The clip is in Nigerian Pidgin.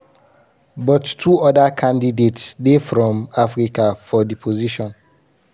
but two oda candidates dey from africa for di position.